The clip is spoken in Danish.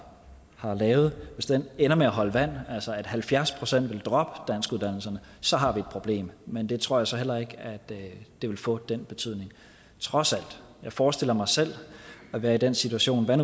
har lavet ender med at holde vand altså at halvfjerds procent vil droppe danskuddannelserne så har vi et problem men jeg tror så heller ikke at det vil få den betydning trods alt jeg forestiller mig selv at være i den situation at